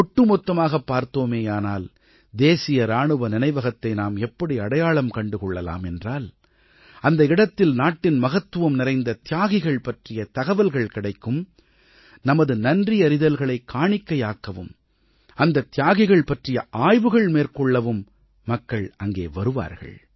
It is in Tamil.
ஒட்டுமொத்தமாகப் பார்த்தோமேயானால் தேசிய இராணுவ நினைவகத்தை நாம் எப்படி அடையாளம் கண்டு கொள்ளலாம் என்றால் அந்த இடத்தில் நாட்டின் மகத்துவம் நிறைந்த தியாகிகள் பற்றிய தகவல்கள் கிடைக்கும் நமது நன்றியறிதல்களைக் காணிக்கையாக்கவும் அந்த தியாகிகள் பற்றிய ஆய்வுகள் மேற்கொள்ளவும் மக்கள் அங்கே வருவார்கள்